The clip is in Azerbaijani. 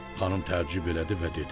Xanım təəccüb elədi və dedi.